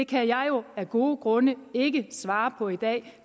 kan jeg jo af gode grunde ikke svare på i dag det